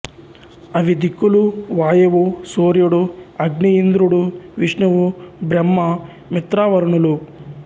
అవి దిక్కులు వాయువు సూర్యుడు అగ్ని ఇంద్రుడు విష్ణువు బ్రహ్మ మిత్రావరుణులు